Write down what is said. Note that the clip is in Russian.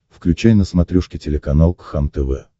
включай на смотрешке телеканал кхлм тв